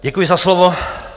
Děkuji za slovo.